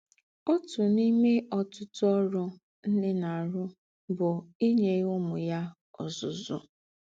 Ótú n’ìmé ọ̀tụ̀tụ̀ ọ́rụ̀ nnè na - àrụ̀ bụ̀ ínye ǔmū yà ọ́zụ́zụ́.